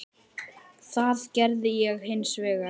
Það gerði ég hins vegar.